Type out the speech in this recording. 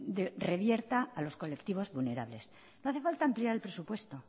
lo revierta a los colectivos vulnerables no hace falta ampliar el presupuesto